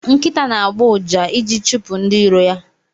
Nkita na agbo ụja iji chipu ndi iro ya.